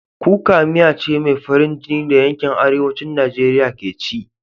Kuka miya ce mai farin jini da yankin Arewacin Najeriya ke ci.